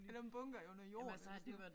Er der en bunker under jorden eller sådan